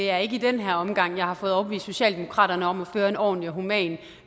er i den her omgang jeg har fået overbevist socialdemokratiet om at føre en ordentlig og human